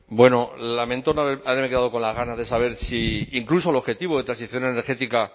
bueno lamento haberme quedado con las ganas de saber si incluso el objetivo de transición energética